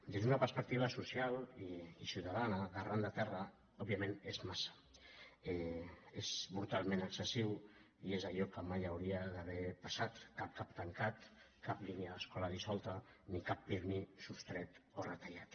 des d’una perspecti·va social i ciutadana d’arran de terra òbviament és massa és brutalment excessiu i és allò que mai hau·ria d’haver passat cap cap tancat cap línia d’escola dissolta ni cap pirmi sostret o retallat